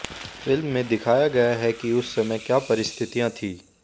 film में दिखाया गया है कि उस समय क्या परिस्थितियां थीं